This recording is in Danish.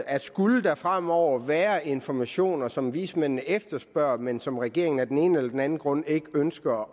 at skulle der fremover være informationer som vismændene efterspørger men som regeringen af den ene eller den anden grund ikke ønsker